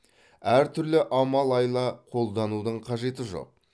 әртүрлі амал айла қолданудың қажеті жоқ